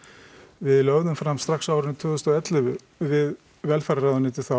við lögðum fram strax árið tvö þúsund og ellefu við velferðarráðuneytið þá